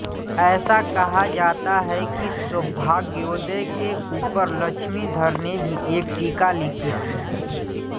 ऐसा कहा जाता है कि सौभाग्योदय के ऊपर लक्ष्मीधर ने भी एक टीका लिखी थी